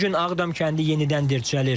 Bu gün Ağdam kəndi yenidən dirçəlir.